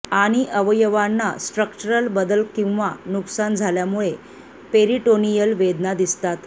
आणि अवयवांना स्ट्रक्चरल बदल किंवा नुकसान झाल्यामुळे पेरीटोनियल वेदना दिसतात